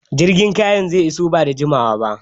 Jirgin kayan zai iso bada jimawa ba